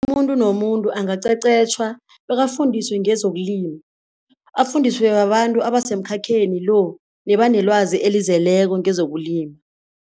Umuntu nomuntu angaqeqetjhwa bekafundiswe ngezokulima, afundiswe babantu abasemkhakheni lo nebanelwazi elizeleko ngezokulima.